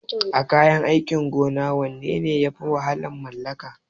A kayan aikin gona wanne ne yafi wahalar mallaka?